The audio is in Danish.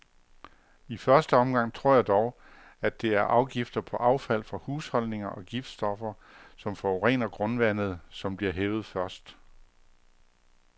I første omgang tror jeg dog, at det er afgifter på affald fra husholdninger og giftstoffer, som forurener grundvandet, som bliver hævet først.